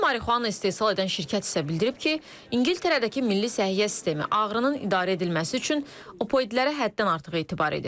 Tibbi marixuana istehsal edən şirkət isə bildirib ki, İngiltərədəki Milli Səhiyyə Sistemi ağrının idarə edilməsi üçün opioidlərə həddən artıq etibar edir.